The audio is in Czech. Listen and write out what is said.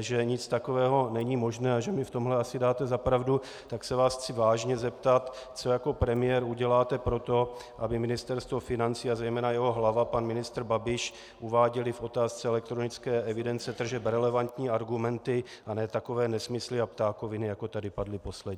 že nic takového není možné a že mi v tomhle asi dáte za pravdu, tak se vás chci vážně zeptat, co jako premiér uděláte pro to, aby Ministerstvo financí a zejména jeho hlava pan ministr Babiš uváděli v otázce elektronické evidence tržeb relevantní argumenty a ne takové nesmysly a ptákoviny, jako tady padly posledně.